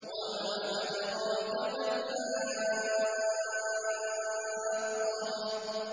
وَمَا أَدْرَاكَ مَا الْحَاقَّةُ